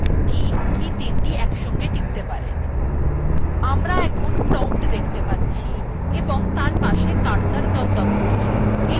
আমরা এখন prompt দেখতে পাচ্ছি $ এবং তার পাশে একটি cursor দপদপ করছে এই promptএই আমরা command type করবো